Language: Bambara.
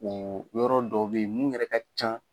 Oo yɔrɔ dɔ be ye min yɛrɛ ka can